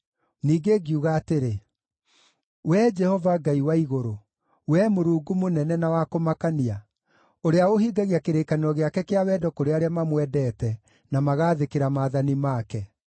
Ningĩ ngiuga atĩrĩ: “Wee Jehova Ngai wa Igũrũ, wee Mũrungu mũnene na wa kũmakania, ũrĩa ũhingagia kĩrĩkanĩro gĩake kĩa wendo kũrĩ arĩa mamwendete na magaathĩkĩra maathani make,